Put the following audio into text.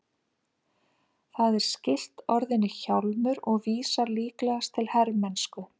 Það er skylt orðinu hjálmur og vísar líklegast til hermennsku.